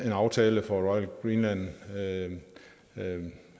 en aftale for royal greenland